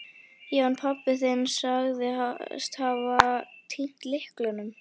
Já, en pabbi þinn sagðist hafa týnt lyklinum.